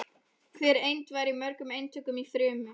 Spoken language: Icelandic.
Hver eind væri í mörgum eintökum í frumu.